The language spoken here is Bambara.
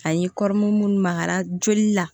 Ani munnu magara joli la